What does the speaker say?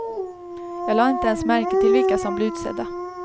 Jag lade inte ens märke till vilka som blev utsedda.